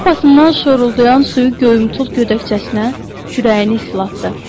Şlyapasından şoruldayan suyu göyümtül gödəkçəsinə, kürəyini islatdı.